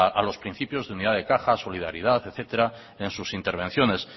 a los principios de unidad de caja solidaridad etcétera en sus intervenciones